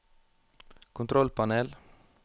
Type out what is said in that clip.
kontrollpanel